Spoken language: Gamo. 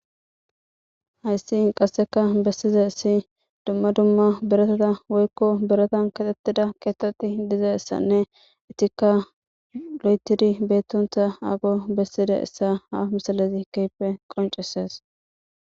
Hayssi qasseka bessizaysi dumma dumma biratata woyko biratan keexetida keetheti dizaysanne eetika lo'ethidi beetonta ago besidaysa ha misilezi keehippe qoncisees.